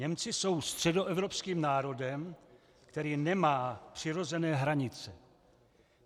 Němci jsou středoevropským národem, který nemá přirozené hranice.